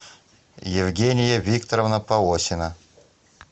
евгения викторовна полосина